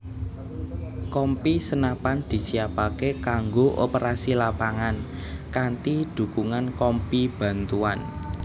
Kompi Senapan disiapaké kanggo operasi lapangan kanthi dhukungan Kompi Bantuan